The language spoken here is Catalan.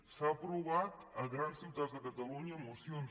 s’han aprovat a grans ciutats de catalunya mocions